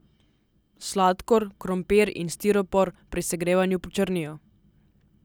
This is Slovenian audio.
Sladkor, krompir in stiropor pri segrevanju počrnijo.